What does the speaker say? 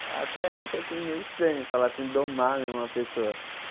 Eu até acho assim meio estranho falar assim, domar né uma pessoa.